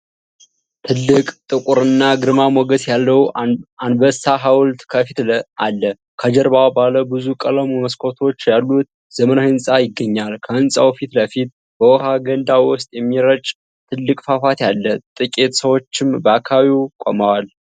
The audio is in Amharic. ትልቅ፣ ጥቁርና ግርማ ሞገስ ያለው አንበሳ ሐውልት ከፊት አለ። ከጀርባ ባለ ብዙ ቀለም መስኮቶች ያሉት ዘመናዊ ህንጻ ይገኛል። ከህንጻው ፊት ለፊት በውሃ ገንዳ ውስጥ የሚረጭ ትልቅ ፏፏቴ አለ። ጥቂት ሰዎችም በአካባቢው ቆመዋል።